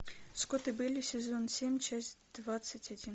скотт и бейли сезон семь часть двадцать один